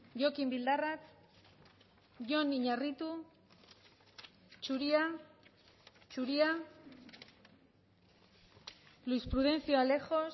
jokin bildarratz jon iñarritu zuria zuria luis prudencio alejos